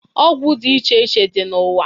Ọgwụ dị iche iche dị n'ụwa.